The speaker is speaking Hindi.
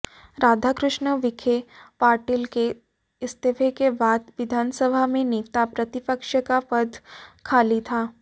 राधाकृष्ण विखे पाटिल के इस्तीफे के बाद विधानसभा में नेता प्रतिपक्ष का पद खाली था